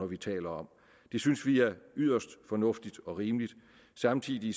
vi taler om det synes vi er yderst fornuftigt og rimeligt samtidig